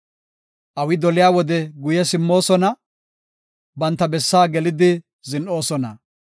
Awi doliya wode guye simmoosona; banta bessaa gelidi zin7oosona.